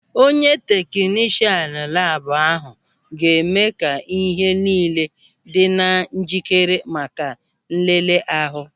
Onye teknishan labu ahụ ga-eme ka ihe niile dị na njikere maka nlele ahụ.